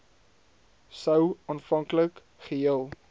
sou aanvanklik geheel